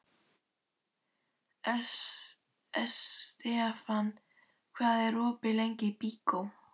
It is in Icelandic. Estefan, hvað er opið lengi í Byko?